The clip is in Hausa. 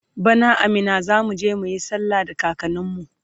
bana a Minna zamuje muyi sallah da kakanin mu